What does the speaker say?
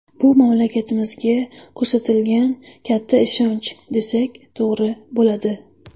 Bu mamlakatimizga ko‘rsatilgan katta ishonch, desak, to‘g‘ri bo‘ladi.